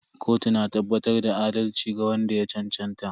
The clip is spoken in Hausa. Kotu na tabbatar da adalci ga wanda ya cancanta.